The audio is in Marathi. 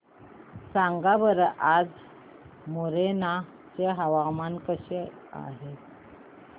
सांगा बरं आज मोरेना चे हवामान कसे आहे